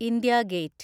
India gate